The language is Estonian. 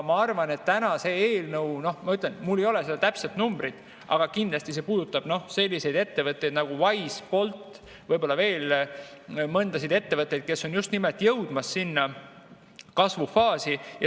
Ma ütlen, et mul ei ole seda täpset numbrit, aga kindlasti see puudutab selliseid ettevõtteid nagu Wise, Bolt, võib-olla veel mõnda ettevõtet, kes on just jõudmas sinna kasvufaasi.